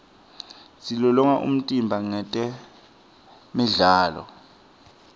silolonga umtimba ngetemidlalo